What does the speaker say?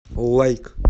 лайк